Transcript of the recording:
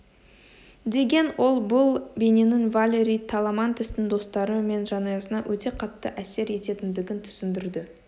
деген ол бұл бейненің валери таламантестың достары мен жанұясына өте қатты әсер ететіндігін түсіндірді